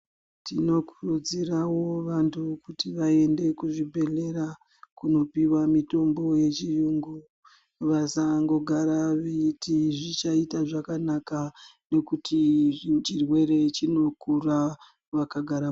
Tinokurudziravo vantu kuti vaende kuzvibhedhlera kunopiwa mitombo yechiyungu. Vasangogara veiti zvichaita zvakanaka nekuti chirwere chinokura vakagara.